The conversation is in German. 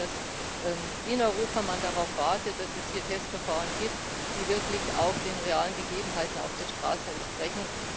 Ich glaube, dass man in Europa darauf wartet, dass es hier Testverfahren gibt, die wirklich auch den realen Gegebenheiten auf der Straße entsprechen.